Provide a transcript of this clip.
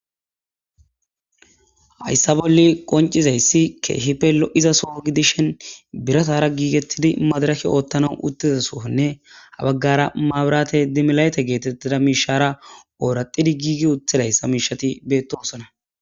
Hayssa bolle qoncizayssi keehipelo'iza soo gidishen biratara giigettidi madaraki oottanau uttizasoonne habaggara maabirate dimilayte geetettida miishara ooraxidi giigi uthedayssa miishati beettosona.